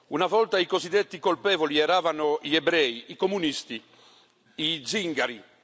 Una volta i cosiddetti colpevoli erano gli ebrei, i comunisti, gli zingari.